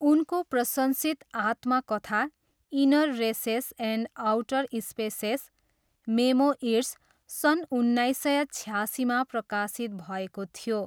उनको प्रशंसित आत्मकथा, inner races and outer spaces, memoirs, सन् उन्नाइस सय छयासीमा प्रकाशित भएको थियो।